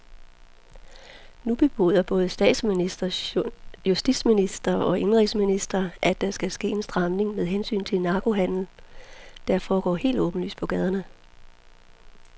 Nu bebuder både statsminister, justitsminister og indenrigsminister, at der skal ske en stramning med hensyn til narkohandelen, der foregår helt åbenlyst på gaderne.